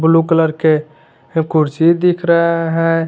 Blue colour के कुर्सी दिख रहा है।